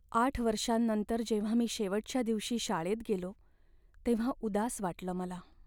आठ वर्षांनंतर जेव्हा मी शेवटच्या दिवशी शाळेत गेलो, तेव्हा उदास वाटलं मला.